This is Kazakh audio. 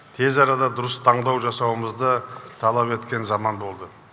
тез арада дұрыс таңдау жасауымызды талап еткен заман болды